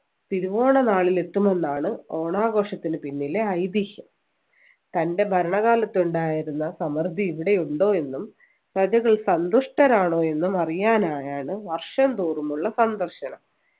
തിരുവോണനാളിൽ എത്തുമെന്നാണ് ഓണാഘോഷത്തിനു പിന്നിലെ ഐതിഹ്യം തൻ്റെ ഭരണകാലത്ത് ഉണ്ടായിരുന്ന സമൃദ്ധി ഇവിടെയുണ്ടോ എന്നും പ്രജകൾ സന്തുഷ്ടരാണോ എന്നും അറിയാനായാണ് വർഷംതോറുമുള്ള സന്ദർശനം